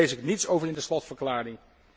Hier lees ik niets over in de slotverklaring.